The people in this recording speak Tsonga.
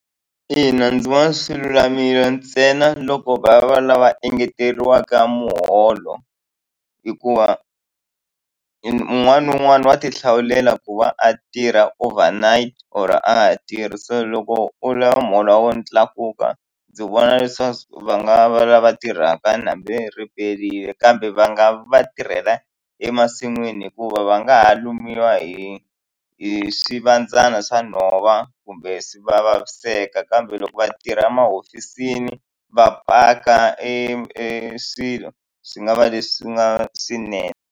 Ina ndzi vona swilulamile ntsena loko va va lava engeteriwa muholo hikuva un'wana na un'wana wa ti hlawulela ku va a tirha over night or a tirhisa loko u lava muholo wa we u tlakuka ndzi vona leswaku va nga va lava tirhaka hambi ri perile kambe va nga va tirhela emasin'wini hikuva va nga ha lumiwa hi hi swi vandzana swa nhova kumbe swi va vaviseka kambe loko vatirha emahofisini va paka eswilo swi nga va leswi nga swinene.